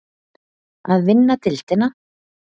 Að vinna deildina?